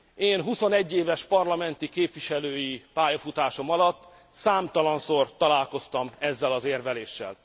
Én huszonegy éves parlamenti képviselői pályafutásom alatt számtalanszor találkoztam ezzel az érveléssel.